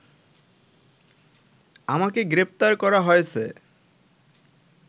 আমাকে গ্রেফতার করা হয়েছে